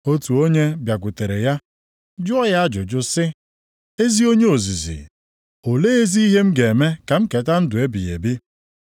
Otu onye bịakwutere ya, jụọ ya ajụjụ sị, “Ezi onye ozizi, olee ezi ihe m ga-eme ka m keta ndụ ebighị ebi?”